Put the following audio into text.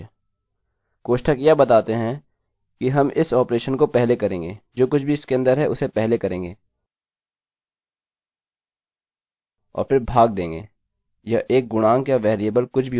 कोष्ठक यह बताते हैं कि हम इस ऑपरेशन को पहले करेंगे जो कुछ भी इसके अन्दर है उसे पहले करेंगे और फ़िर भाग देंगे यह एक गुणांक या वेरिएबल कुछ भी हो सकता है